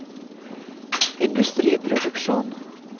industriproduksjon